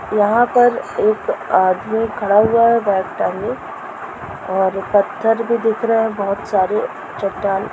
यहां पर एक आदमी खड़ा हुआ है बैग टांगे और पत्थर भी दिख रहा है बहोत सारे चट्टान --